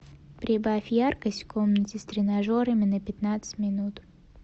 прибавь яркость в комнате с тренажерами на пятнадцать минут